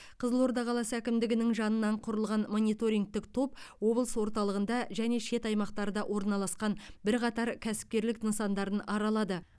қызылорда қаласы әкімдігінің жанынан құрылған мониторингтік топ облыс орталығында және шет аймақтарда орналасқан бірқатар кәсіпкерлік нысандарын аралады